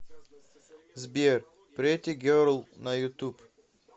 сбер претти герл на ютуб